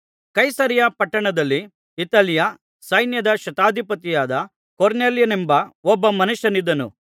ಕೈಸರೈಯ ಪಟ್ಟಣದಲ್ಲಿ ಇತಾಲ್ಯ ಸೈನ್ಯದ ಶತಾಧಿಪತಿಯಾದ ಕೊರ್ನೆಲ್ಯನೆಂಬ ಒಬ್ಬ ಮನುಷ್ಯನಿದ್ದನು